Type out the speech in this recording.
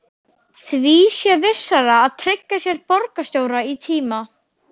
Því sé vissara að tryggja sér borgarstjóra í tíma.